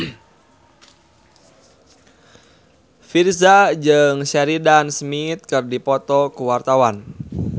Virzha jeung Sheridan Smith keur dipoto ku wartawan